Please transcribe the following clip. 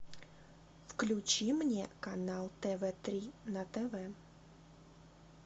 включи мне канал тв три на тв